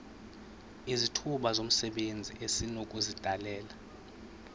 izithuba zomsebenzi esinokuzidalela